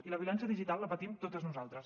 i la violència digital la patim totes nosaltres